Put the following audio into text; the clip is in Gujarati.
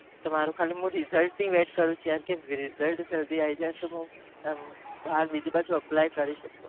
તો મારું ખાલી હું result ની રાહ જોઉં છુ